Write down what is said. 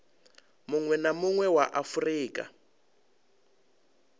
munwe na munwe wa afurika